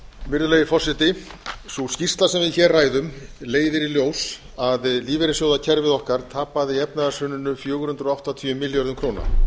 virðulegi forseti sú skýrsla sem við hér ræðum leiðir í ljós að lífeyrissjóðakerfið okkar tapaði í efnahagshruninu fjögur hundruð áttatíu milljörðum króna